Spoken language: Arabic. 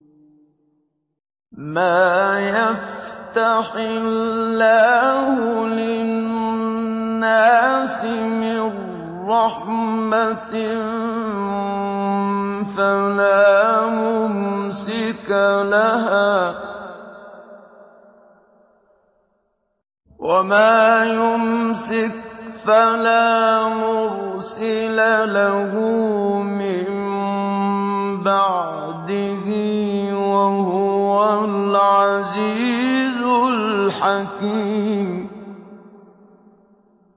مَّا يَفْتَحِ اللَّهُ لِلنَّاسِ مِن رَّحْمَةٍ فَلَا مُمْسِكَ لَهَا ۖ وَمَا يُمْسِكْ فَلَا مُرْسِلَ لَهُ مِن بَعْدِهِ ۚ وَهُوَ الْعَزِيزُ الْحَكِيمُ